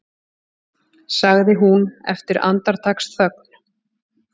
sagði hún eftir andartaksþögn.